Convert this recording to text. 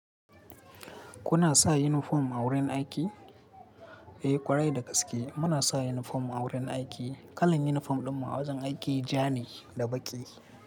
Kuna sa yunifom a wurin aiki? Eh, ƙwarai da gaske muna sa yunifom a wurin aiki. Kalan yunifom ɗinmu a wajen aiki ja ne da baƙi.